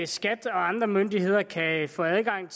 skat og andre myndigheder kan få adgang